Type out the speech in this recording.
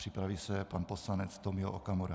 Připraví se pan poslanec Tomio Okamura.